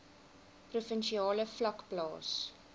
provinsiale vlak plaas